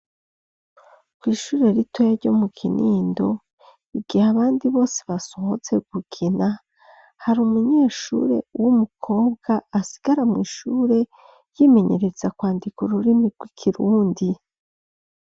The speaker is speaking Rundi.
Kw'ishure ritoyi ryo mu Kinindo, igihe abandi bose basohotse gukina, hari umunyeshure w'umukobwa asigara mw'ishure yimenyereza kwandika ururimi rw'ikirundi.